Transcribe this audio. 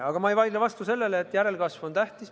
Aga ma ei vaidle vastu, et järelkasv on tähtis.